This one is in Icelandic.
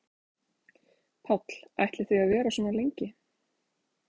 Páll: Ætla ætlið þið að vera svona lengi?